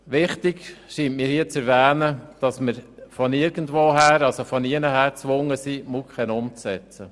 Wichtig scheint mir, dass wir von keiner Seite gezwungen sind, die MuKEn umzusetzen.